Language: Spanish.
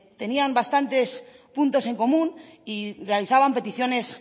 tenían bastantes puntos en común y realizaban peticiones